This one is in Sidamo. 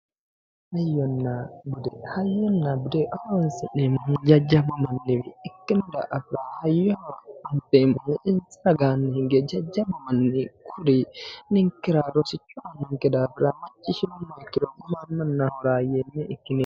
hayyonna bude hayyonna bude horonsi'neemmohu jajjabba manniwi ikkino daafira insa ragaanni hinge jajjabbu manni kuri ninkera rosicho aannonke daafira macciishshinummoha ikkiro gumaammanna horaameeyye ikkineemmo.